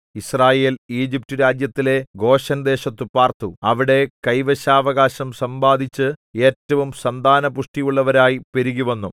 യിസ്രായേൽ ഈജിപ്റ്റുരാജ്യത്തിലെ ഗോശെൻദേശത്തു പാർത്തു അവിടെ കൈവശാവകാശം സമ്പാദിച്ച് ഏറ്റവും സന്താന പുഷ്ടിയുള്ളവരായി പെരുകിവന്നു